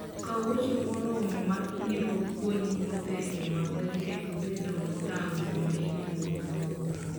Kaw wuoche moromo ma biro konyi wuotho e yo maber kendo bedo motang' sama in e wuoth mabor.